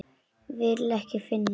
Vil ekki finna.